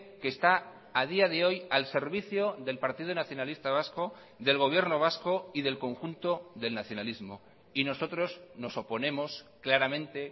que está a día de hoy al servicio del partido nacionalista vasco del gobierno vasco y del conjunto del nacionalismo y nosotros nos oponemos claramente